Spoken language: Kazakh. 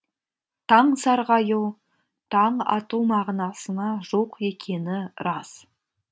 таң сарғаю таң ату мағынасына жуық екені рас